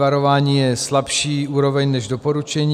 Varování je slabší úroveň než doporučení.